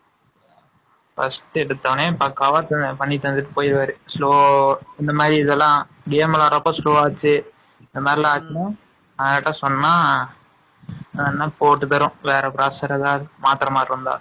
First எடுத்தவுடனே, cover பண்ணி தந்துட்டு போயிருவாரு. Slow , இந்த மாதிரி இதெல்லாம், game எல்லாம் ரொம்ப slow ஆச்சு. இந்த மாதிரி எல்லாம் ஆட்டுனோம். யார்ட்ட சொன்னா, 53 . போட்டுக்கிறோம். வேற professor ஏதாவது, மாத்திரை, மாடு இருந்தா